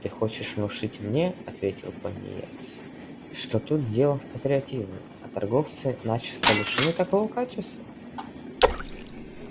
ты хочешь внушить мне ответил пониетс что тут дело в патриотизме а торговцы начисто лишены такого качества